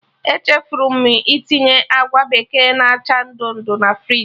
Echefuru m itinye agwa bekee na acha ndụ ndụ na friji